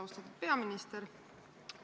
Austatud peaminister!